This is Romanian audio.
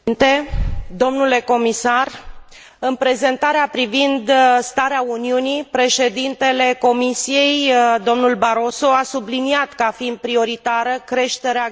În prezentarea privind starea Uniunii, Președintele Comisiei, domnul Barroso, a subliniat ca fiind prioritară creșterea gradului de ocupare la nivel european.